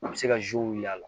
A bɛ se ka wuli a la